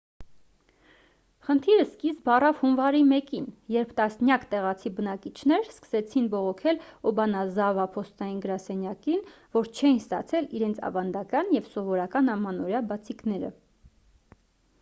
խնդիրը սկիզբ առավ հունվարի 1-ին երբ տասնյակ տեղացի բնակիչներ սկսեցին բողոքել օբանազավա փոստային գրասենյակին որ չէին ստացել իրենց ավանդական և սովորական ամանորյա բացիկները